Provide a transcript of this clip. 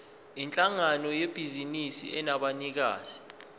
yinhlangano yebhizinisi enabanikazi